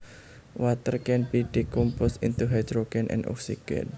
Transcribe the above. Water can be decomposed into hydrogen and oxygen